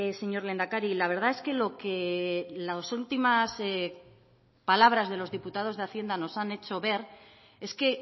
señor lehendakari la verdad es que lo que las últimas palabras de los diputados de hacienda nos han hecho ver es que